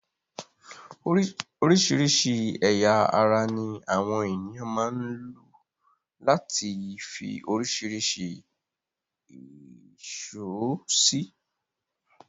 Oríṣìíríṣìí ẹ̀yà ara ní àwọn ènìyàn máa ń lu láti fi oríṣìíríṣìí ẹ̀ṣọ́ sí.